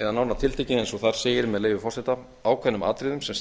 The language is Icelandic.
eða nánar tiltekið eins og þar segir með leyfi forseta ákveðnum atriðum sem